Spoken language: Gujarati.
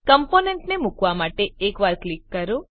કમ્પોનેન્ટને મુકવા માટે એકવાર ક્લિક કરો